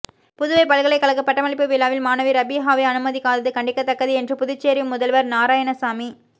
புதுவைப்பல்கலைகழக பட்டமளிப்பு விழாவில் மாணவி ரபீஹாவை அனுமதிக்காதது கண்டிக்கத்தக்கது என்று புதுச்சேரி முதல்வர் நாராயணசாமி